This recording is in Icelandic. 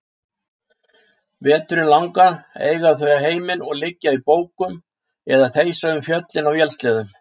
Veturinn langan eiga þau heiminn og liggja í bókum eða þeysa um fjöllin á vélsleðum.